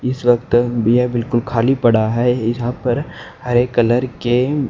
इस वक्त ये बिल्कुल खाली पड़ा है यहां पर हरे कलर के--